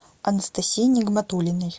анастасии нигматуллиной